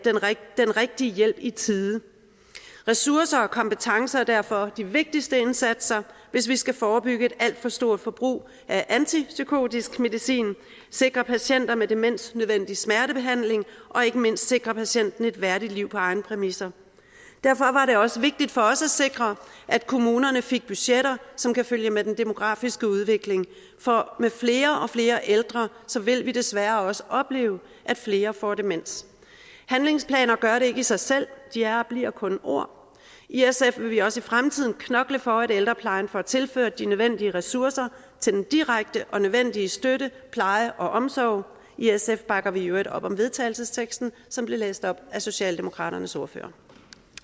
den rigtige hjælp i tide ressourcer og kompetencer er derfor de vigtigste indsatser hvis vi skal forebygge et alt for stort forbrug af antipsykotisk medicin sikre patienter med demens den nødvendige smertebehandling og ikke mindste sikre patienten et værdigt liv på egne præmisser derfor var det også vigtigt for os at sikre at kommunerne fik budgetter som kan følge med den demografiske udvikling for med flere og flere ældre vil vi desværre også opleve at flere får demens handlingsplaner gør det ikke i sig selv de er og bliver kun ord i sf vil vi også i fremtiden knokle for at ældreplejen får tilført de nødvendige ressourcer til den direkte og nødvendige støtte pleje og omsorg i sf bakker vi i øvrigt op om vedtagelsesteksten som blev læst op af socialdemokraternes ordfører